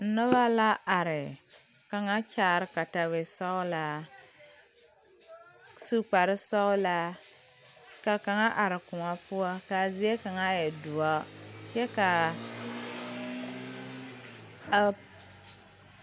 Nobɔ la are kaŋa kyaare katawisɔglaa su kparesɔglaa ka kaŋa are kõɔ poɔ kaa zie kaŋa e doɔ kyɛ kaa a.